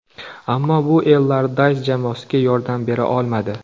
Ammo bu Ellardays jamoasiga yordam bera olmadi.